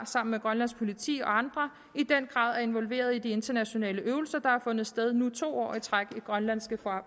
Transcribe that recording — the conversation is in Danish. sammen med grønlands politi og andre i den grad er involveret i de internationale øvelser der har fundet sted nu to år i træk i grønlandske